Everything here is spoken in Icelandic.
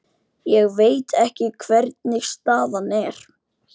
Ég veit ekki hvernig staðan er.